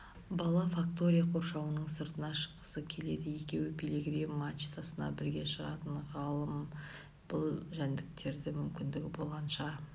бала фактория қоршауының сыртына шыққысы келеді екеуі пилигрим мачтасына бірге шығатын ғалым бұл жәндіктерді мүмкіндігі болғанынша